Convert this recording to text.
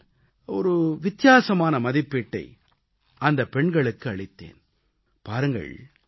நான் என் தரப்பில் ஒரு வித்தியாசமான மதிப்பீட்டை அந்தப் பெண்களுக்கு அளித்தேன்